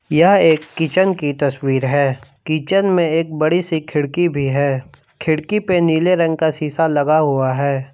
यह एक किचन की तस्वीर है। किचन में एक बड़ी सी खिड़की भी है। खिड़की पे नीले रंग का सीसा लगा हुआ है।